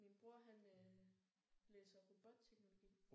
Min bror han øh læser robotteknologi